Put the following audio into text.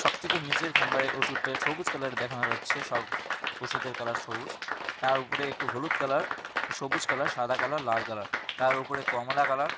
সব থেকে নীচের খাম্বায় ওষুধটা সবুজ কালারের দেখানো যাচ্ছে সব ওষুধের কালার সবুজ তার উপরে একটু হলুদ কালার সবুজ কালার সাদা কালার লাল কালার তার ওপরে কমলা কালার ।